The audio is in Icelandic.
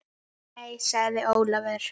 Nei sagði Ólafur.